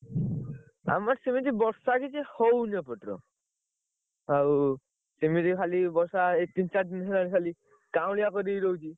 ଆମର ସେମିତି ବର୍ଷା କିଛି ହଉନି ଏପଟର ଆଉ ସେମିତି ଖାଲି ବର୍ଷା ଏଇ ତିନି ଚାରି ଦିନ ହେଲାଣି ଖାଲି କାଉଁଳିଆ କରିକି ରହୁଛି।